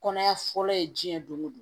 Kɔnɔya fɔlɔ ye diɲɛ don o don